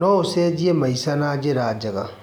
No ũcenjie maica na njĩra njega.